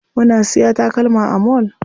Muna siya takalma a mall.